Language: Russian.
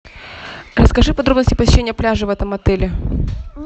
расскажи подробности посещения пляжа в этом отеле